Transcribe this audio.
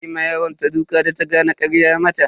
Ta ma yaronta duka da ta gane karya ya mata.